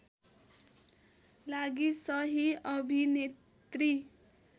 लागि सहि अभिनेत्री